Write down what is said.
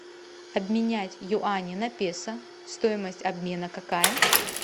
обменять юани на песо стоимость обмена какая